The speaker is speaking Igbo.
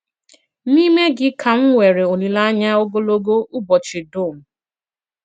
N'ime gị kà m nwere olìlèanyà ògòlògò ùbọ̀chị d̀ùm.